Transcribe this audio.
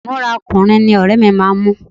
Ìmúra ọkùnrin ní ọ̀rẹ́ mi máa ń mú